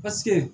Paseke